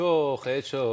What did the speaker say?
Çox, eh, çox.